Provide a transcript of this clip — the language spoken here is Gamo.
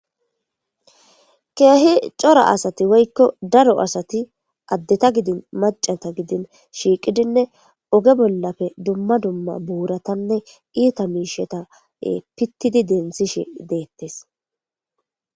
Keehi cora asati woykko daro asati addeta gidin maccata gidin shiiqidinne oge bollappe dumma dumma buuratanne iita miishsheta pittidi denthishe de'etees.